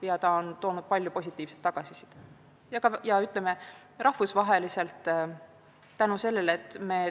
See, et me tehnoloogiaõigusega tegeleme, on toonud palju positiivset tagasisidet.